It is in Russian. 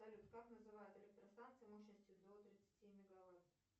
салют как называют электростанции мощностью до тридцати мегаватт